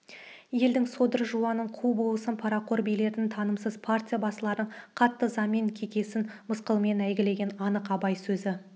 елдің содыр жуанын қу болысын парақор билерін тынымсыз партия басыларын қатты ызамен кекесін мысқылмен әйгілеген анық абай сөзі